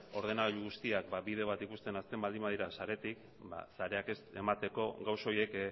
ordenagailu guztiak ba bide bat ikusten hasten baldin badira saretik sareak ez emateko gauza horiek